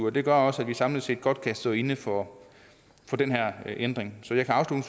og det gør også at vi samlet set godt kan stå inde for den her ændring så jeg kan